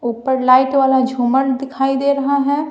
ऊपर लाइट वाला झूमर दिखाई दे रहा है।